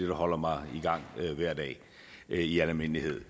holder mig i gang hver dag i al almindelighed